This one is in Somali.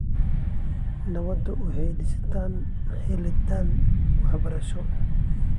Nabadda waxay ku dhisan tahay helitaan waxbarasho.